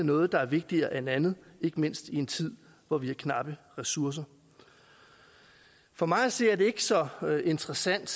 noget der er vigtigere end andet ikke mindst i en tid hvor vi har knappe ressourcer for mig at se er det ikke så interessant